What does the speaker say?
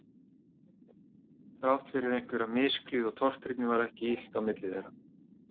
Þrátt fyrir einhverja misklíð og tortryggni var ekki illt á milli þeirra